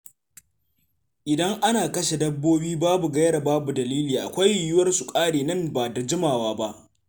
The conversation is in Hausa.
Idan ana kashe dabbobi babu gaira babu dalili, akwai yiwuwar su ƙare nan ba da jimawa ba.